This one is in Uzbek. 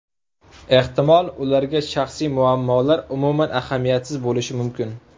Ehtimol, ularga shaxsiy muammolar umuman ahamiyatsiz bo‘lishi mumkin.